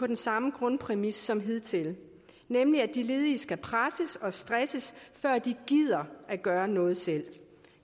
den samme grundpræmis som hidtil nemlig at de ledige skal presses og stresses før de gider at gøre noget selv